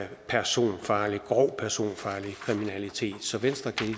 personfarlig kriminalitet så venstre kan